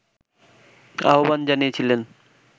আহবান জানিয়েছিলেন